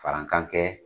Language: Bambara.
Farankan kɛ